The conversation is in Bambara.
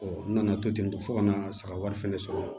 n nana to ten tɔ fo kana saga wɛrɛ fɛnɛ sɔrɔ